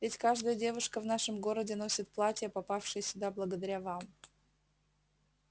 ведь каждая девушка в нашем городе носит платья попавшие сюда благодаря вам